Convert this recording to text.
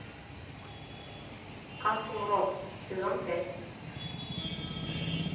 касл рок сезон пять